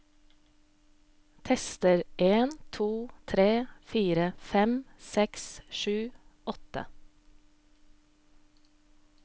Tester en to tre fire fem seks sju åtte